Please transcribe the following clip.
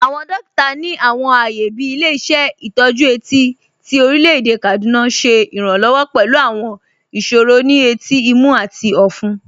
Awọn dòkìtà ni awọn ààyè bí Ilẹ̀-ìṣẹ̀ Itọju Eti ti Orílẹ̀-èdè Kaduna ṣẹ iránlọ́wọ̀ pẹ̀lú awọn ìṣòro ni ètí, ìmú, àti ọ̀fún.